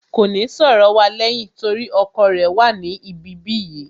Kò ní sọ̀rọ̀ wa lẹ́yìn torí ọkọ rẹ̀ wà ní ibi bí yìí